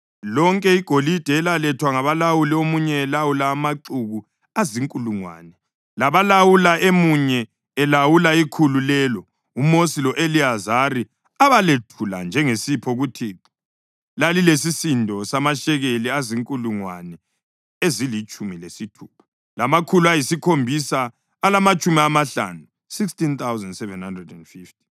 Lonke igolide elalethwa ngabalawuli emunye elawula amaxuku azinkulungwane labalawuli emunye elawula ikhulu lelo uMosi lo-Eliyazari abalethula njengesipho kuThixo lalilesisindo samashekeli azinkulungwane ezilitshumi lesithupha, lamakhulu ayisikhombisa alamatshumi amahlanu (16,750).